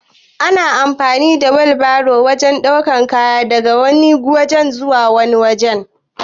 Ana amfani da wilbairo wajan ɗaukan kaya daga wani waje zuwa wani waje